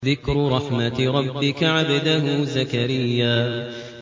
ذِكْرُ رَحْمَتِ رَبِّكَ عَبْدَهُ زَكَرِيَّا